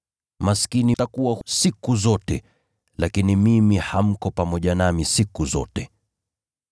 Maskini mtakuwa nao siku zote, lakini mimi hamtakuwa nami siku zote.”